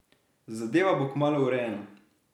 Zadeva bo kmalu urejena.